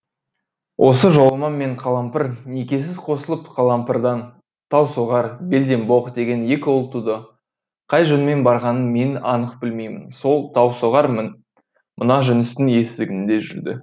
осы жоламан мен қалампыр некесіз қосылып қалампырдан таусоғар белденбоқ деген екі ұл туды қай жөнмен барғанын мен анық білмеймін сол таусоғар мына жүністің есігінде жүрді